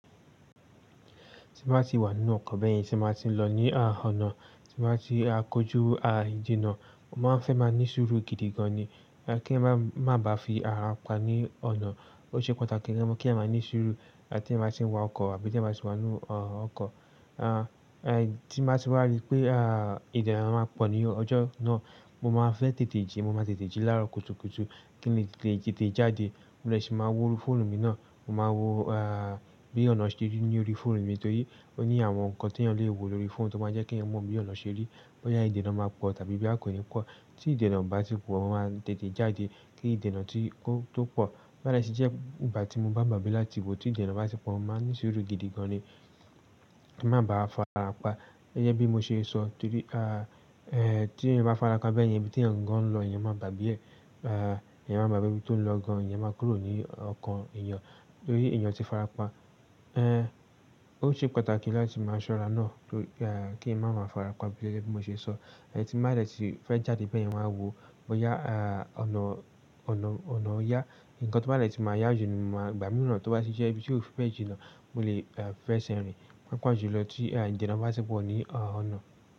Tí mo bá ti wà nínú ọkọ̀ bẹ́yìn, tí mo bá ti ń lọ ní à ọnà, tí mo bá ti a kójú à ìjìnnà, mo máa fẹ́ máa ní sùúrù gidi gan ni. Kí ń bá má ba fi ara pa ní ọnà. Ó ṣe pàtàkì rẹ́mọ̀ kí a máa ní sùúrù láti tí mo bá ti ń wa ọkọ̀ àbí tí mo bá ti wà nínú ọ ọkọ̀. A tí mo bá ti wa rí pé à ìdènà máa pọ̀ ní ọjọ́ náà, mo máa fẹ́ tètè jí, mo máa tètè jí lára kùtùkùtù kí n lè lè lè jáde. Mo de si ma wo orí fọ́ọ̀nù mi náà, mo máa wo à bí ọnà ṣe rí ní orí fọ́ọ̀nù mi torí ó ní àwọn nǹkan tí ẹyan le wo lórí fóònù tó máa jẹ́ kí ẹni mọ bí ọnà ṣe rí, bóyá ìdènà máa pọ̀ tàbí bí a kò ní pọ̀. Tí ìdènà bá ti pọ̀, mo máa tètè jáde kí ìdènà tí ó tó pọ̀. Bo ba de ti je ìgbà tí mo bá gbagbe láti wọ, tí ìdènà bá ti pọ̀, mo máa ní sùúrù gidi gan ni. Kí n má ba farapa. Ọ̀ yẹn bí mo ṣe sọ torí tí ẹyan bá farapa bẹ́yen, ibi tí èèyàn gan ń lọ, èèyàn máa gbagbe ẹ. A èèyàn máa gbagbe ibí tó ń lọ gan, èèyàn máa kúrò ní ọkàn èèyàn torí èèyàn ti farapa. Ó ṣe pàtàkì láti máa ṣọ́ra náà kí n má má farapa gẹ́gẹ́ bí mo ṣe sọ. Ẹhn tí ba de ti fe jáde beyan wa n wo bóyá à ọ̀nà ọ̀nà ọ̀nà ó yá. Ǹkan tọ̀ bá dẹ̀ tì máa yá jù ni mo máa ìgbà míràn tó bá sì jẹ́ ibí ti o fi bẹ́ jìnnà mo lè e fẹsẹ̀ rìn paapa ju lọ tí à ìdènà bá ti pọ̀ ní ọ̀nà.